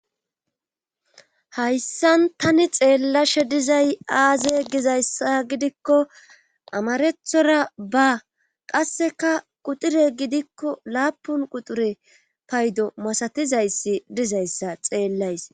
Hayssan tani xeellashshe dizay aaze gizayssa gidikko amaraththora ba qasseka quxure gidikko laappun quxure payddo masatizayssi dizayssa xeellays